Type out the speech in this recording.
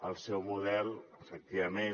el seu model efectivament